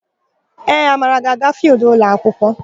Ee, Amara ga-aga fịịldụ ụlọakwụkwọ.